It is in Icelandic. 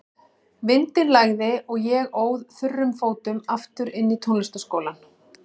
Vindinn lægði og ég óð þurrum fótum aftur inn í tónlistarskólann.